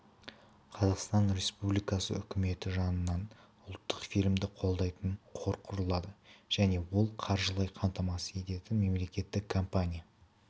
қазақстан республикасы үкіметі жанынан ұлттық фильмді қолдайтын қор құрылады және ол қаржылай қамтамасыз ететін мемлекеттік компания